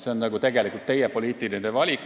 See on tegelikult teie poliitiline valik.